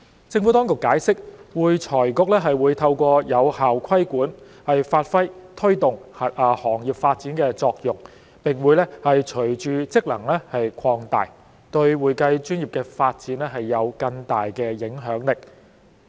政府當局解釋，會財局會透過有效規管，發揮推動行業發展的作用，並會隨着職能擴大，對會計專業的發展有更大的影響力。